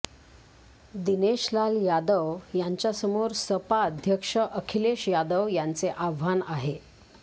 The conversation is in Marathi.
दिनेश लाल यादव यांच्यासमोर सपा अध्यक्ष अखिलेश यादव यांचे आव्हान आहे